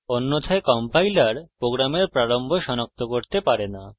অন্যথায় compiler program প্রারম্ভ সনাক্ত করতে পারে না